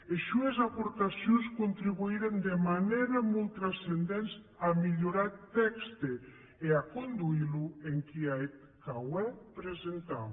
es sues aportacions contribuiren de manèra molt trascendenta a mielhorar eth tèxte e a conduir lo enquiath qu’aué presentam